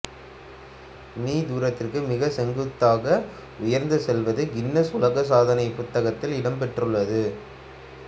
me தூரத்துக்கு மிக செங்குத்தாக உயர்ந்து செல்வது கின்னஸ் உலக சாதனைப் புத்தகத்தில் இடம் பெற்றுள்ளது